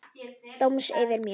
Dóms yfir mér.